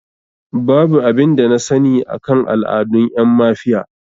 Babu abin da na sani akan al'adun ƴan mafiya